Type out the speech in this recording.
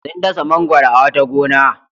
Sun dasa mangwaro a wata gona.